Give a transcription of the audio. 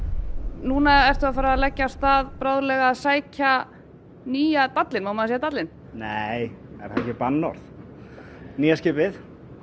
nú ertu að fara að leggja af stað bráðlega að sækja nýja dallinn má maður segja dallinn nei er það ekki bannorð nýja skipið